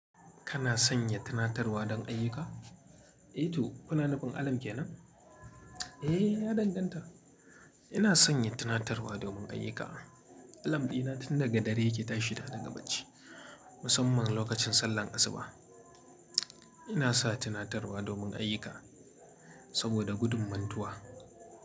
Kana sanya tunatarwa don ayyuka? Eh to, kuna nufin alarm kenan? Eh, ya danganta. Ina sanya tunatarwa domin ayyuka. Alarm ɗina tun daga dare yake tashi na daga bacci, musamman lokacin sallar asuba. Ina sa tunatarwa domin ayyuka saboda gudun mantuwa.